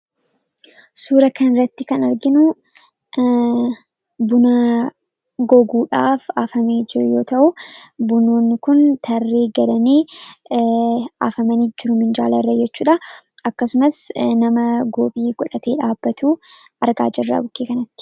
Suuraa kanarratti kan arginu buna goguudhaaf hafamee jiru yoo ta'u, bunoonni kun tarree galanii hafamanii jiru minjaalarra jechuudha. Akkasumas nama nama goophii godhatee dhaabbatu argaa jirra bukkee kanatti.